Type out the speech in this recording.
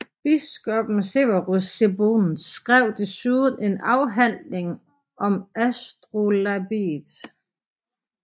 Biskoppen Severus Sebokht skrev desuden en afhandling om astrolabiet